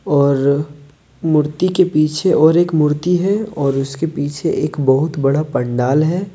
और मूर्ति के पीछे और एक मूर्ति है और उसके पीछे एक बहुत बड़ा पंडाल है।